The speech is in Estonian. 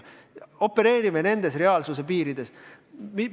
Opereerime nendes reaalsuse piirides.